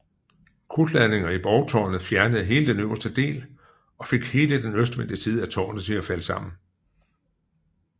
Krudtladninger i borgtårnet fjernede hele den øverste del og fik hele den østvendte side af tårnet til at falde sammen